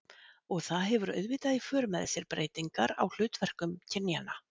Og það hefur auðvitað haft í för með sér breytingar á hlutverkum kynjanna.